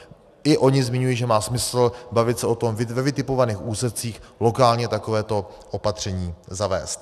I oni zmiňují, že má smysl bavit se o tom ve vytipovaných úsecích lokálně takovéto opatření zavést.